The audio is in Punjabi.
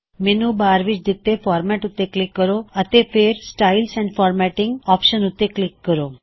ਮੈੱਨੂ ਬਾਰ ਵਿੱਚ ਦਿੱਤੇ ਫਾਰਮੈੱਟ ਉੱਤੇ ਕਲਿੱਕ ਕਰੋ ਹੈ ਅਤੇ ਫੇਰ ਸਟਾਈਲਜ਼ ਐਂਡ formattingਸਟਾਇਲਜ ਐਨਡ ਫਾਰਮੈਟਿੰਗ ਆਪਸ਼ਨ ਉੱਤੇ ਕਲਿੱਕ ਕਰੋ